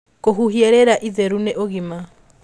Kũhuhia rĩera itheru nĩ ũgima